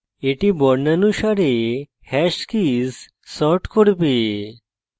এটি বর্ণানুসারে hash keys sort করবে